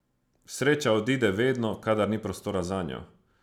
Sreča odide vedno, kadar ni prostora zanjo.